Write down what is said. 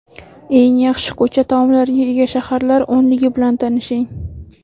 Eng yaxshi ko‘cha taomlariga ega shaharlar o‘nligi bilan tanishing .